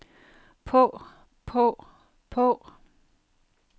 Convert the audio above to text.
på på på